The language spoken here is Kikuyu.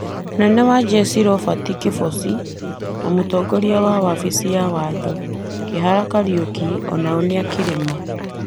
mũnene wa njeshi Robert Kĩbochi na mũtongoria wa wabici ya watho, Kĩhara Kariũki o nao nĩ a kĩrĩma.